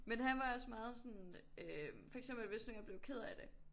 Men han var også meget sådan øh for eksempel hvis nu jeg blev ked af det